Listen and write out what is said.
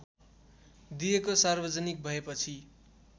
दिएको सार्वजनिक भएपछि